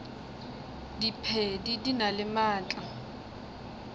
diphedi di na le maatla